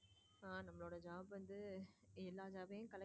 என்னோட job வந்து எல்லா job பையும்.